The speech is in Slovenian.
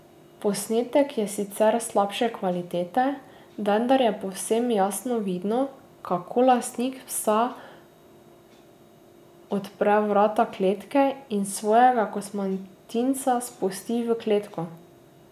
Posnetek je sicer slabše kvalitete, vendar je povsem jasno vidno, kako lastnik psa odpre vrata kletke in svojega kosmatinca spusti v kletko ...